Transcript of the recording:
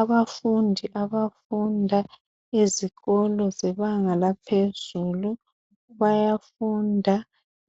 Abafundi abafunda ezikolo zebanga laphezulu bayafunda